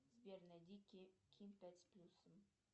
сбер найди ким пять с плюсом